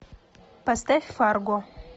поставь фарго